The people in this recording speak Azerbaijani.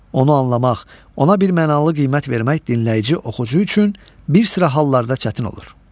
Onu anlamaq, ona birmənalı qiymət vermək dinləyici-oxucu üçün bir sıra hallarda çətin olur.